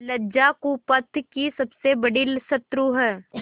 लज्जा कुपथ की सबसे बड़ी शत्रु है